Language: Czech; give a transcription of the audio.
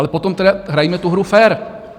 Ale potom tedy hrajme tu hru fér!